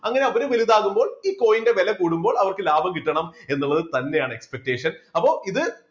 അങ്ങനെ അവര് വലുതാകുമ്പോൾ ഈ coin ന്റെ വില കൂടുമ്പോൾ അവർക്ക് ലാഭം കിട്ടണം എന്നുള്ളത് തന്നെയാണ് expectation അപ്പോ ഇത്